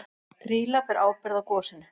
Grýla ber ábyrgð á gosinu